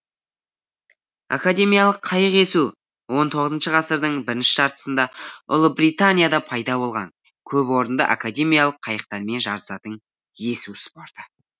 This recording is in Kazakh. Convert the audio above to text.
академиялық қайық есу он тоғызыншы ғасырдың біріншіші жартысында ұлыбританияда пайда болған көпорынды академиялық қайықтармен жарысатын есу спорты